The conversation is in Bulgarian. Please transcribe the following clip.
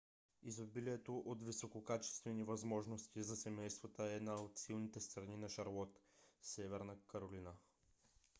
изобилието от висококачествени възможности за семействата е една от силните страни на шарлот северна каролина